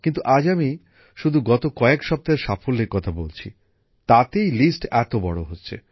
কিন্তু আজ আমি শুধু গত কয়েক সপ্তাহের সাফল্যের কথা বলছি তাতেই লিস্ট এত বড় হচ্ছে